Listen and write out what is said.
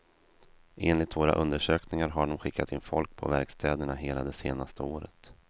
Enligt våra undersökningar har dom skickat in folk på verkstäderna hela det senaste året.